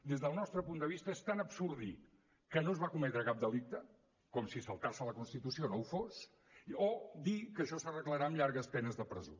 des del nostre punt de vista és tan absurd dir que no es va cometre cap delicte com si saltar se la constitució no ho fos o dir que això s’arreglarà amb llargues penes de presó